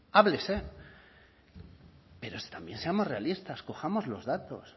háblese pero también seamos realistas cojamos los datos